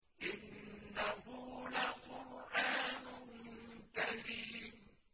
إِنَّهُ لَقُرْآنٌ كَرِيمٌ